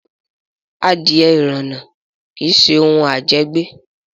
Adìẹ ìrànà kí ṣe òun à jẹ gbé